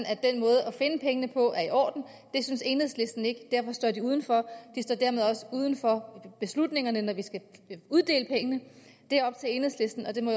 at den måde at finde pengene på er i orden det synes enhedslisten ikke derfor står de udenfor de står dermed også uden for beslutningerne når vi skal uddele pengene det er op til enhedslisten og det må